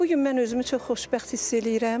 Bu gün mən özümü çox xoşbəxt hiss eləyirəm.